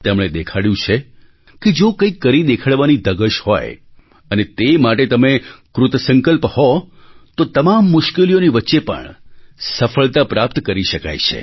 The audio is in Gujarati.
તેમણે દેખાડ્યું છે કે જો કંઈક કરી દેખાડવાની ધગશ હોય અને તે માટે તમે કૃતસંકલ્પ હો તો તમામ મુશ્કેલીઓની વચ્ચે પણ સફળતા પ્રાપ્ત કરી શકાય છે